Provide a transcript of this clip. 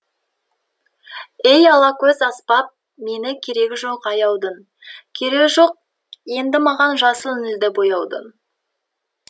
ей алакөз аспап мені керегі жоқ аяудың керегі жоқ енді маған жасыл нілді бояудың